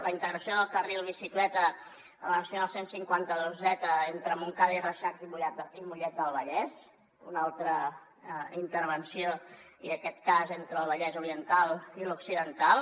la integració del carril bicicleta a la nacional cent i cinquanta dos z entre montcada i reixac i mollet del vallès una altra intervenció i en aquest cas entre el vallès oriental i l’occidental